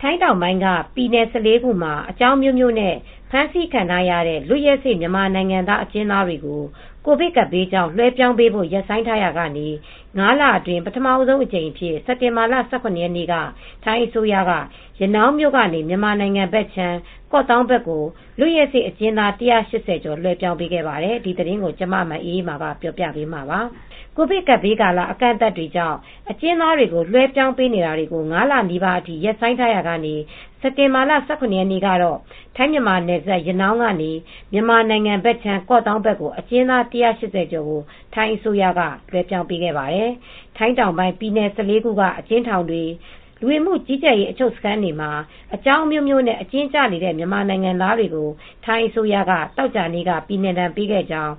ထိုင်းတောင်ပိုင်း ပြည်နယ် ၁၄ ခုမှာ အကြောင်းအမျိုးမျိုးနဲ့ ဖမ်းဆီးခံထားရတဲ့ လွတ်ရက်စေ့ မြန်မာနိုင်ငံသား အကျဉ်းသားတွေကို ကိုဗစ်ကပ်ဘေးကြောင့် လွှဲပြောင်းပေးဖို့ ရပ်ဆိုင်းထားရာကနေ အခုတော့ လွှဲပြောင်းရေးလုပ်ငန်းတွေ ပြန်စနေပါပြီ။ ၅ လအတွင်း ပထမဆုံးအကြိမ်အဖြစ် စက်တင်ဘာလ ၁၇ ရက်နေ့ကတော့ ရနောင်းမြို့ကနေ မြန်မာနိုင်ငံ ကော့သောင်းဘက်ကို လွတ်ရက်စေ့ အကျဉ်းသား ၁၈၀ ကျော် လွှဲပြောင်းပေးခဲ့တာပါ။ အပြည့်အစုံကို ထိုင်းအခြေစိုက် ဗွီအိုအေမြန်မာပိုင်း သတင်းထောက် မအေးအေးမာ တင်ပြပေးထားပါတယ်။ ကိုဗစ်ကပ်ဘေးကာလ အကန့်အသတ်တွေကြောင့် အကျဉ်းသားတွေ လွဲှပြောင်းပေးတာတွေကို ၅ လနီးပါးအထိ ရပ်ဆိုင်းထားရာက စက်တင်ဘာလ ၁၇ ရက်နေ့ကတော့ ထိုင်း-မြန်မာနယ်စပ် ရနောင်းကနေ မြန်မာနိုင်ငံဘက်ခြမ်း ကော့သောင်းကို အကျဉ်းသား ၁၈၀ ကျော် ထိုင်းအစိုးရက လွဲှပြောင်းပေးခဲ့ပါတယ်။ ထိုင်းနိုင်ငံတောင်ပိုင်း ပြည်နယ် ၁၄ ခုက အကျဉ်းထောင်တွေ၊ လူဝင်မှုကြီးကြပ်ရေး အချုပ်စခန်းတွေမှာ အကြောင်းအမျိုးမျိုးနဲ့ အကျဉ်းကျနေတဲ့ မြန်မာနိုင်ငံသားတွေကို ထိုင်းအစိုးရက သောကြာနေ့က ပြည်နှင်ဒဏ်ပေးခဲ့ကြောင်း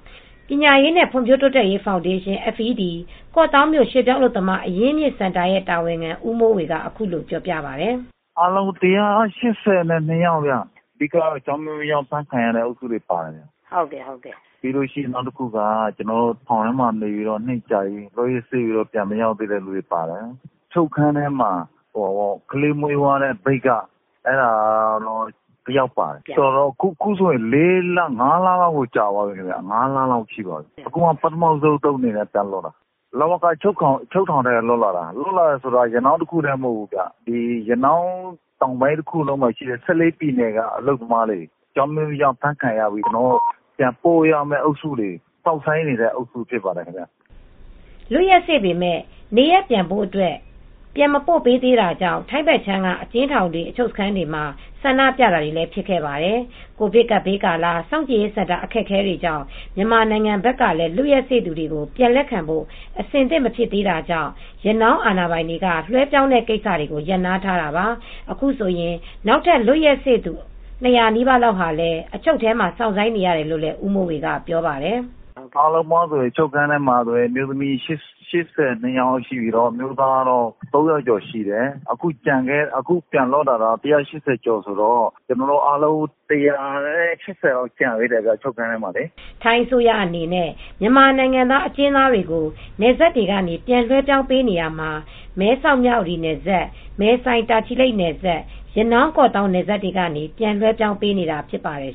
ပညာရေးနှင့် ဖွံ့ဖြိုးတိုးတက်ရေး ဖောင်ဒေးရှင်း (FED)၊ ကော့သောင်းမြို့ ရွှေ့ပြောင်းအလုပ်သမား အရင်းအမြစ်စင်တာ တာဝန်ခံ ဦးမိုးဝေက အခုလိုပြောပြပါတယ်။ “အားလုံး ၁၈၂ ယောက်ဗျ၊ အဓိက အကြောင်းအမျိုးမျိုးနဲ့ ဖမ်းဆီးခံရသူတွေ ပါတယ်။ နောက်တခုက ထောင်ထဲမှာ နှစ်ကြာပြီး လွတ်ရက်စေ့သူတွေ ပါတယ်။ အချုပ်ခန်းထဲမှာ ကလေးမွေးသွားတဲ့ မြိတ်က အမျိုးသမီးတဦး ပါတယ်။ အခုဆိုရင် ၅ လ လောက်တောင် ကြာသွားပြီ။ အခုကျမှ ပထမဦးဆုံးအကြိမ် ပြန်လွတ်တာပါ။ လဝကအချုပ်ထောင်က လွတ်လာတာပါ။ ရနောင်းတခုတည်း မဟုတ်ဘူး၊ တောင်ပိုင်းတခုလုံးက ၁၄ ပြည်နယ်က အလုပ်သမားတွေ အကြောင်းအမျိုးမျိုးကြောင့် အဖမ်းခံရပြီး ပြန်ပို့ရမယ့်အုပ်စုတွေ၊ စောင့်ဆိုင်းနေရတဲ့ အုပ်စုတွေ ဖြစ်ပါတယ်။” လွတ်ရက်စေ့ပေမယ့် နေရပ်ပြန်ဖို့အတွက် ပြန်မပို့ပေးသေးတာကြောင့် ထိုင်းဘက်ခြမ်းက အကျဉ်းထောင်တွေ၊ အချုပ်စခန်းတွေမှာ ဆန္ဒပြတာတွေလည်း ဖြစ်ခဲ့ပါတယ်။ ကိုဗစ်ကပ်ဘေးကာလ စောင့်ကြည့်ရေးစင်တာ အခက်အခဲကြောင့် မြန်မာနိုင်ငံဘက်ကလည်း လွတ်ရက်စေ့သူတွေကို ပြန်လက်ခံဖို့ အဆင်သင့် မဖြစ်သေးတာကြောင့် ရနောင်းအာဏာပိုင်တွေက လွဲှပြောင်းတဲ့ကိစ္စတွေကို ရပ်နားထားတာပါ။ အခုဆိုရင် နောက်ထပ် လွတ်ရက်စေ့သူ ၂၀၀ နီးပါးလောက်ဟာလည်း အချုပ်ထဲမှာ စောင့်ဆိုင်းနေရတယ်လို့ ဦးမိုးဝေက ပြောပါတယ်။ “အားလုံးပေါင်း အချုပ်ခန်းထဲမှာ အမျိုးသမီး ၈၂ ယောက်ရှိပြီး အမျိုးသား ၃၀၀ ကျော်ရှိတယ်။ အခုပြန်လွတ်လာတာ ၁၈၀ ကျော်ဆိုတော့ ကျန်သေးတာ ၁၈၀ ကျော်လောက်တော့ ကျန်သေးတယ် အချုပ်ခန်းထဲမှာ။” ထိုင်းအစိုးရအနေနဲ့ မြန်မာနိုင်ငံသား အကျဉ်းသားတွေကို နယ်စပ်တွေကနေ ပြန်လွဲှပြောင်းပေးနေရာမှာ မဲဆောက်-မြဝတီနယ်စပ်၊ မယ်ဆိုင်-တာချီလိတ်နယ်စပ်၊ ရနောင်း-ကော့သောင်း နယ်စပ်တွေကနေ ပြန်လွဲှပြောင်းပေးနေတာ ဖြစ်ပါတယ်